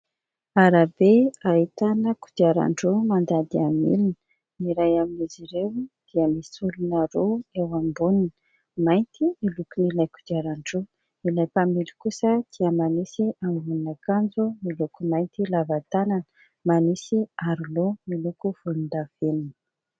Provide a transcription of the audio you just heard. Arabe ahitana kodiarandroa mandady amin'ny milina, ny iray amin'izy ireo dia misy olona roa eo amboniny, mainty ny lokon'ilay kodiarandroa, ilay mpamily kosa dia manisy ambonin'akanjo miloko mainty lava tanana, manisy aro loha miloko volondavenona.